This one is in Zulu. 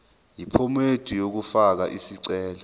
yephomedi yokufaka isicelo